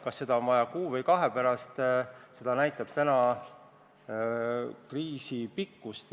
Kas seda on vaja kuu või kahe pärast, seda näitab kriisi pikkus.